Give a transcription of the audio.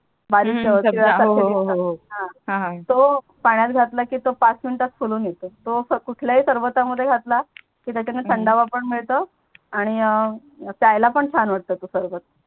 पाण्यात घातला की तो पाच मिंट फुलून येतो तो अस कुठल्या ही सरबता मध्ये घातला की त्याच्यातणी थंडावा पण मिडतो आणि प्याला पण छान वाटतो तो सरबत